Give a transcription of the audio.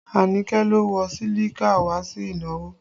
Anike lo wọ sílíkì wá sí ìnáwó